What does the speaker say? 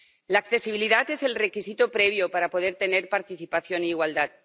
La accesibilidad es el requisito previo para poder tener participación e igualdad.